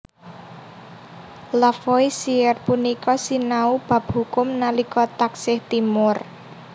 Lavoisier punika sinau bab hukum nalika taksih timur